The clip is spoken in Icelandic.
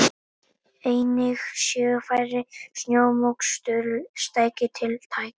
Einnig séu færri snjómoksturstæki tiltæk